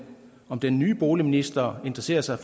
om den nye boligminister interesserer sig